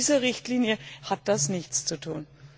Mit dieser Richtlinie hat das nichts zu tun.